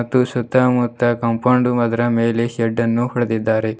ಮತ್ತು ಸುತ್ತಮುತ್ತ ಕಾಂಪೌಂಡ್ ಅದರ ಮೇಲೆ ಶೆಡ್ಡನ್ನು ಹೊಡೆದಿದ್ದಾರೆ.